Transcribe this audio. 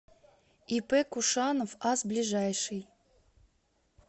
ип кушанов ас ближайший